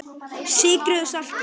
Sykrið og saltið.